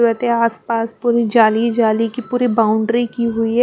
रते आसपास पूरी जाली जाली की पूरी बाउंड्री की हुई है।